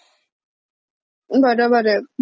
unintelligible हम्म.